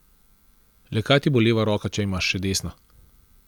Le kaj ti bo leva roka, če imaš še desno?